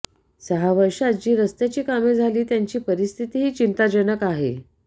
सहा वर्षांत जी रस्त्याची कामे झाली त्यांची परिस्थितीही चिंताजनक आहे